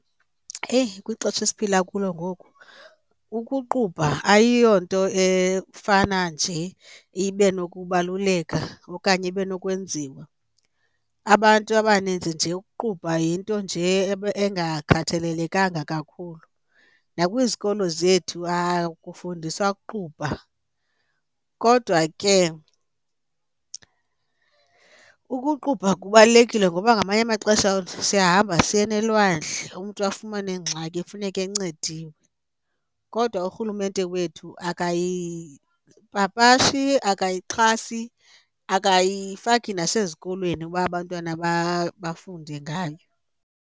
Eyi kwixesha esiphila kulo ngoku ukuqubha ayiyonto efana nje ibe nokubaluleka okanye ibe nokwenziwa, abantu abaninzi nje ukuqubha yinto nje engakhathalelekanga kakhulu nakwizikolo zethu akufundiswa ukuqubha. Kodwa ke ukuqubha kubalulekile ngoba ngamanye amaxesha siyahamba siyeni elwandle umntu afumane ingxaki ekufuneke encediwe, kodwa urhulumente wethu akayipapashi, akayixhasi akayifaki nasezikolweni uba abantwana bafunde ngayo.